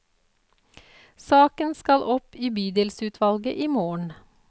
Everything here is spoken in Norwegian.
Saken skal opp i bydelsutvalget i morgen.